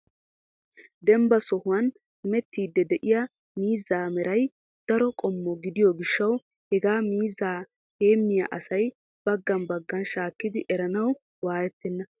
Dembba sohuwan hemettidi de'iyaa miizza meray daro qommo gidiyo gishshaw hega miizzaa heemiya asay baaga baaga shakkidi eranaw wayyetene ?